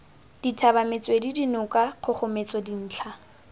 dithaba metswedi dinoka kgogometso dintlha